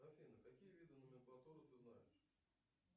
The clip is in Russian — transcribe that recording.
афина какие виды номенклатуры ты знаешь